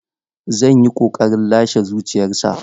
Zan yi ƙoƙarin lashe zuciyarsa.